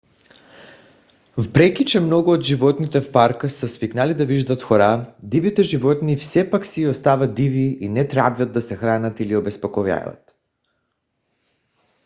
въпреки че много от животните в парка са свикнали да виждат хора дивите животни все пак си остават диви и не трябва да се хранят или обезпокояват